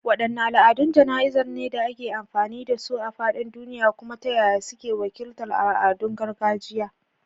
Waɗanne al’adun jana’izar ne da ake amfani da su a faɗin duniya, kuma ta yaya suke wakiltar al’adun gargajiya?